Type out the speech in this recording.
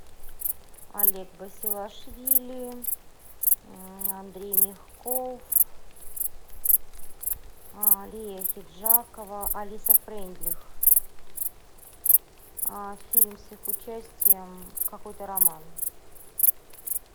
олег басилашвили андрей мягков лия ахеджакова алиса фрейндлих фильм с их участием какой то роман